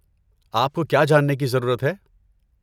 آپ کو کیا جاننے کی ضرورت ہے؟